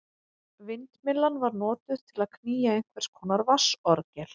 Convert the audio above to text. Vindmyllan var notuð til að knýja einhvers konar vatnsorgel.